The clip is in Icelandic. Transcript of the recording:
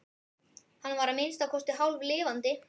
Hann var að minnsta kosti hálflifandi.